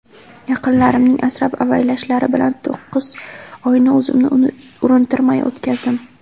Yaqinlarimning asrab-avaylashlari bilan to‘qqiz oyni o‘zimni urintirmay o‘tkazdim.